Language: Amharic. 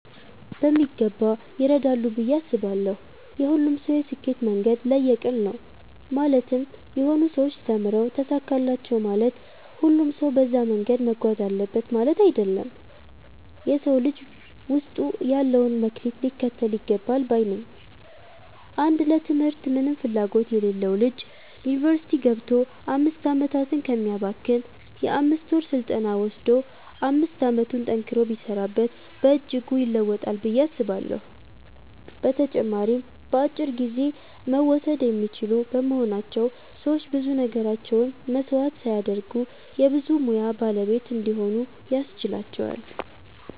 በሚገባ ይረዳሉ ብዬ አስባለው። የሁሉም ሰው የስኬት መንገድ ለየቅል ነው ማለትም የሆኑ ሰዎች ተምረው ተሳካላቸው ማለት ሁሉም ሰው በዛ መንገድ መጓዝ አለበት ማለት አይደለም። የ ሰው ልጅ ውስጡ ያለውን መክሊት ሊከተል ይገባል ባይ ነኝ። አንድ ለ ትምህርት ምንም ፍላጎት የሌለው ልጅ ዩኒቨርስቲ ገብቶ 5 አመታትን ከሚያባክን የ 5ወር ስልጠና ወሰዶ 5 አመቱን ጠንክሮ ቢሰራበት በእጅጉ ይለወጣል ብዬ አስባለሁ። በተጨማሪም በአጭር ጊዜ መወሰድ የሚችሉ በመሆናቸው ሰዎች ብዙ ነገራቸውን መስዋዕት ሳያደርጉ የ ብዙ ሙያ ባለቤት እንዲሆኑ ያስችላቸዋል።